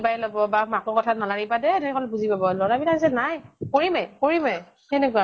কিবাই লʼব বা মাকৰ কথাত নালাগিবা দে কলে বুলি পাব। লʼৰাই বিলাক যে নাই। কৰিমে কৰিমে সেনেকুৱা